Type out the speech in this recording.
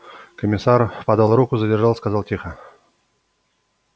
комиссар подал руку задержал сказал тихо